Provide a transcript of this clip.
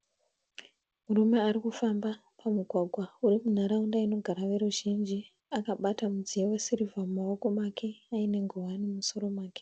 Murume arikufamba pamugwagwa urimunharaunda inogara veruzhinji, akabata mudziyo we sirivha mumaoko make aine nguwani mumusoro make.